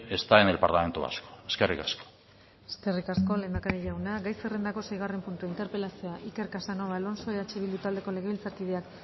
está en el parlamento vasco eskerrik asko eskerrik asko lehendakari jauna gai zerrendako seigarren puntua interpelazioa iker casanova alonso eh bildu taldeko legebiltzarkideak